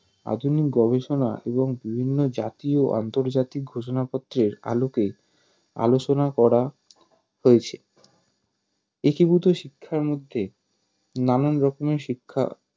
আধুনিক গবেষনা ও বিভিন্ন জাতীয় ও আন্তর্জাতিক ঘোষনাপত্রের আলোকে আলোচনা করা হয়েছে একীভূত শিক্ষার মধ্যে নানান রকমের শিক্ষা